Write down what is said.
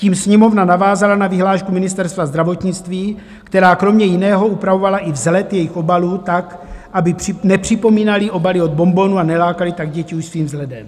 Tím Sněmovna navázala na vyhlášku Ministerstva zdravotnictví, která kromě jiného upravovala i vzhled jejich obalů tak, aby nepřipomínaly obaly od bonbonů a nelákaly tak děti už svým vzhledem.